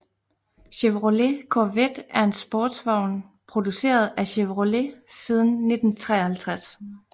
Chevrolet Corvette er en sportsvogn produceret af Chevrolet siden 1953